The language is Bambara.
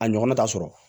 A ɲɔgɔnna ta sɔrɔ